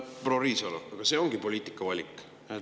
Proua Riisalo, aga see ongi poliitikavalik.